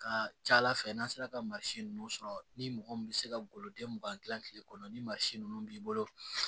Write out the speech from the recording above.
Ka ca ala fɛ n'a sera ka masin ninnu sɔrɔ ni mɔgɔ min bɛ se ka goloden mugan dilan tile kɔnɔ ni mansin ninnu b'i bolo